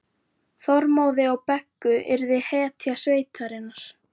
Þormóði og Beggu og yrði hetja sveitarinnar.